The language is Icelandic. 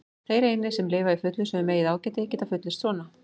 Þeir einir, sem lifa í fullvissu um eigið ágæti, geta fullyrt svona.